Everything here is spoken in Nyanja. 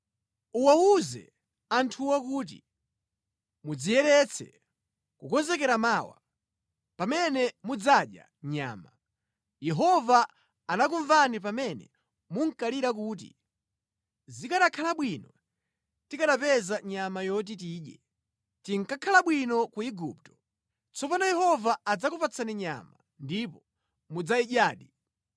“Uwawuze anthuwo kuti, ‘Mudziyeretse, kukonzekera mawa, pamene mudzadya nyama.’ Yehova anakumvani pamene munkalira kuti, ‘Zikanakhala bwino tikanapeza nyama yoti tidye! Tinkakhala bwino ku Igupto!’ Tsopano Yehova adzakupatsani nyama ndipo mudzayidyadi.